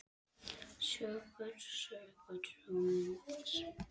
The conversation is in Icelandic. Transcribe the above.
Söngur, sögur og myndir.